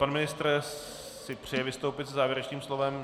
Pan ministr si přeje vystoupit se závěrečným slovem?